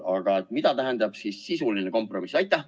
Aga mida tähendab sisuline kompromiss?